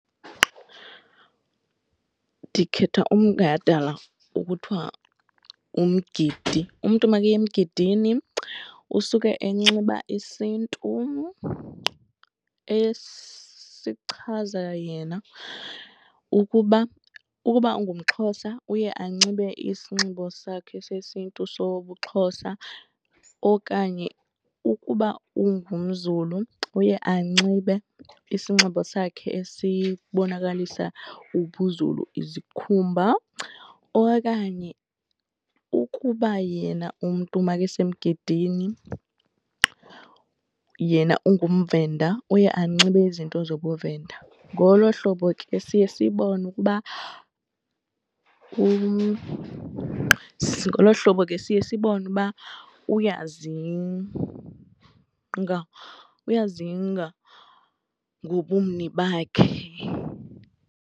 Ndikhetha umgadala okuthiwa umgidi. Umntu makaya emgidini usuke enxiba isiNtu esichaza yena ukuba ukuba ungumXhosa uye anxibe isinxibo sakhe sesiNtu sobuXhosa okanye ukuba ungumZulu uye anxibe isinxibo sakhe esibonakalisa ubuZulu, izikhumba. Okanye ukuba yena umntu makesemgidini yena ungumVenda uye anxibe izinto zobuVenda. Ngolo hlobo ke siye sibone ukuba , ngolo hlobo ke siye sibone uba uyazinga, uyazinga ngobumni bakhe.